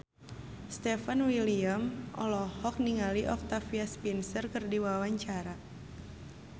Stefan William olohok ningali Octavia Spencer keur diwawancara